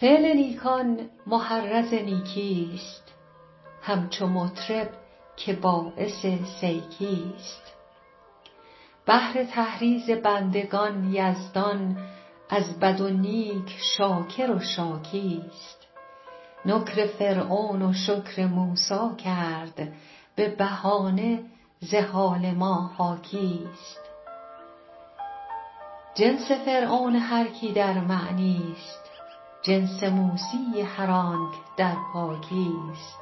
فعل نیکان محرض نیکیست همچو مطرب که باعث سیکیست بهر تحریض بندگان یزدان از بد و نیک شاکر و شاکیست نکر فرعون و شکر موسی کرد به بهانه ز حال ما حاکیست جنس فرعون هر کی در منیست جنس موسی هر آنک در پاکیست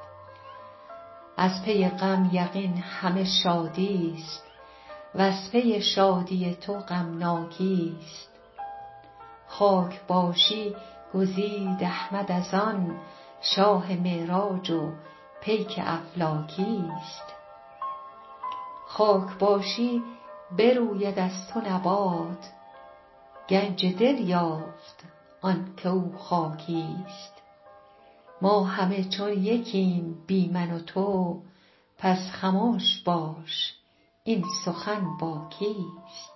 از پی غم یقین همه شادیست و از پی شادی تو غمناکیست خاک باشی گزید احمد از آن شاه معراج و پیک افلاکیست خاک باشی بروید از تو نبات گنج دل یافت آنک او خاکیست ما همه چون یکیم بی من و تو پس خمش باش این سخن با کیست